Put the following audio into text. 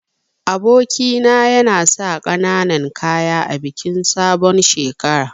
Aboki na yana sa kananan kaya a bikin sabon shekara.